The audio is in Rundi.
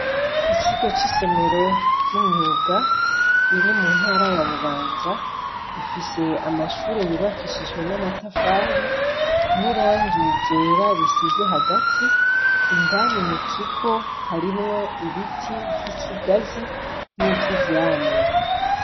Ikigo c' isomero ry' imyuga iri muntara ya Bubanza ifise amashure yubakishijwe n' amatafari n' irangi ryera risize hagati indani mukigo harimwo ibiti vy' ikigazi n' ivyivyamamwa.